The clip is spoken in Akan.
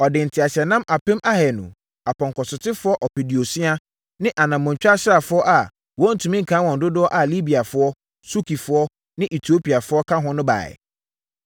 Ɔde nteaseɛnam apem ahanu, apɔnkɔsotefoɔ ɔpeduosia ne anammɔntwa asraafoɔ a wɔntumi nkan wɔn dodoɔ a Libiafoɔ, Sukifoɔ ne Etiopiafoɔ ka ho na ɛbaeɛ.